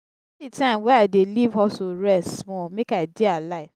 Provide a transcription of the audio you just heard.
di time wey i dey leave hustle rest small make i dey alive.